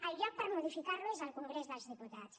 el lloc per modificar lo és el congrés dels diputats